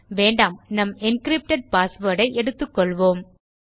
வேண்டாம் நம் encrypted password ஐ எடுத்துக்கொள்வோம்